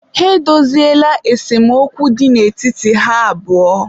ha edoziela esemokwu dị n'etiti ha abụọ